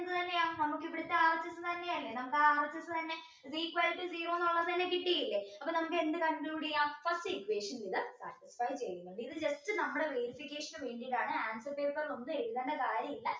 എത്രയാ നമുക്ക് ഇവിടുത്തെ RHS തന്നെയല്ലേ നമ്മുടെ RHS തന്നെ is equal to zero എന്നുള്ളത് തന്നെ കിട്ടിയില്ല അപ്പോൾ നമുക്ക് എന്ത് conclude ചെയ്യാം first equation ന്റേത് satisfy ഇത് just നമ്മുടെ verification ന് വേണ്ടിയിട്ടാണ് answer paper ൽ ഒന്നും എഴുതേണ്ട കാര്യമില്ല